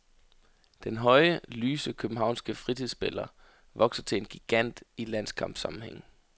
Den høje, lyse københavnske fritidsspiller vokser til en gigant i landskampsammenhæng.